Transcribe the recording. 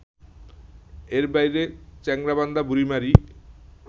এর বাইরে চ্যাংড়াবান্ধা-বুড়িমারি